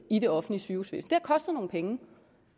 i det offentlige sygehusvæsen det kostet nogle penge